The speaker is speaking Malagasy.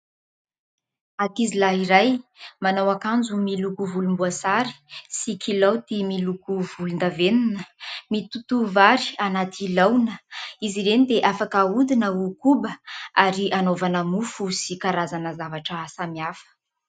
Ankizilahy iray manao akanjo miloko volomboasary sy kilaoty miloko volondavenona mitoto vary anaty laona. Izy ireny dia afaka ahodina ho koba ary anaovana mofo sy karazana zavatra samihafa.